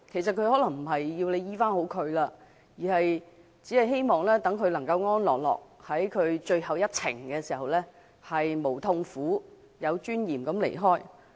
他們可能並非希望可以痊癒，而是希望在人生的最後一程能夠沒有痛苦、安樂而有尊嚴地離開。